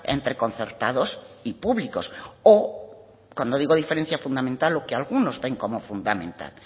entre concertados y públicos o cuando digo diferencia fundamental lo que algunos ven como fundamental